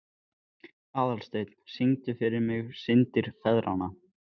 Aðalsteinunn, syngdu fyrir mig „Syndir feðranna“.